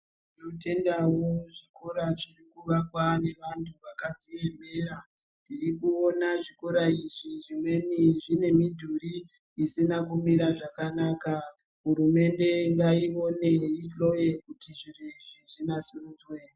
Tinotendawo zvikora zvinoakwa neantu akadziemera tiri kuona zvikora izvi zvimweni zvine mudhuri usina kumira zvakanaka hurumende ngayione ihloye zviro izvi zvinasirudzwe.